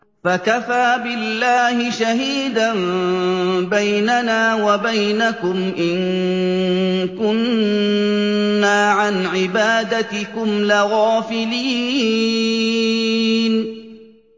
فَكَفَىٰ بِاللَّهِ شَهِيدًا بَيْنَنَا وَبَيْنَكُمْ إِن كُنَّا عَنْ عِبَادَتِكُمْ لَغَافِلِينَ